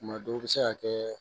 Tuma dɔw bɛ se ka kɛ